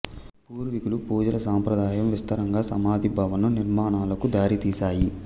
పూర్వీకుల పూజల సంప్రదాయం విస్తారంగా సమాధి భవనం నిర్మాణాలకు దారితీసాయి